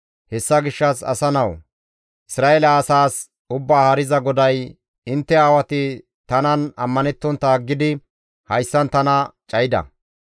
«Hessa gishshas asa nawu! Isra7eele asaas Ubbaa Haariza GODAY, ‹Intte aawati tanan ammanettontta aggidi hayssan tana cayida.